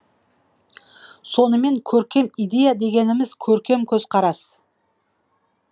сонымен көркем идея дегеніміз көркем көзқарас